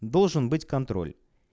должен быть контроль